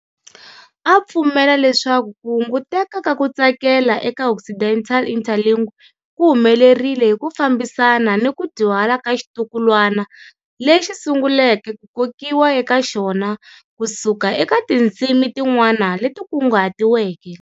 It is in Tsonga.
A pfumela leswaku ku hunguteka ka ku tsakela eka Occidental-Interlingue ku humelerile hi ku fambisana ni ku dyuhala ka xitukulwana lexi sunguleke ku kokiwa eka xona ku suka eka tindzimi tin'wana leti kunguhatiweke.